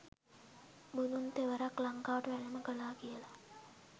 බුදුන් තෙවරක් ලංකාවට වැඩම කළා කියලා